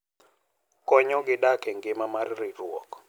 Konyogi dak e ngima mar ritruok.